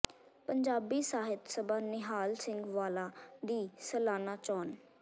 ਪੰਜਾਬੀ ਸਾਹਿਤ ਸਭਾ ਨਿਹਾਲ ਸਿੰਘ ਵਾਲਾ ਦੀ ਸਾਲਾਨਾ ਚੋਣ